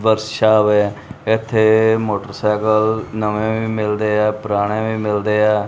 Workshop ਹੈ ਇੱਥੇ motorcycle ਨਵੇਂ ਵੀ ਮਿਲਦੇ ਆ ਪੁਰਾਣੇ ਵੀ ਮਿਲਦੇ ਆ।